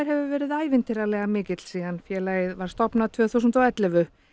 hefur verið ævintýralega mikill síðan félagið var stofnað tvö þúsund og ellefu